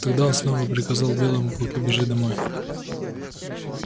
тогда он снова приказал белому клыку бежать домой